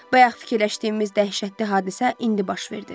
Bayaq fikirləşdiyimiz dəhşətli hadisə indi baş verdi.